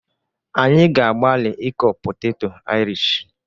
Anyị ga-agbalị ịkọ poteto Irish